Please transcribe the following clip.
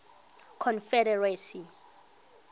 confederacy